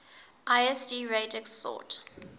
lsd radix sort